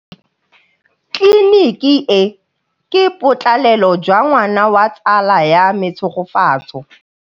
Tleliniki e, ke botsalêlô jwa ngwana wa tsala ya me Tshegofatso.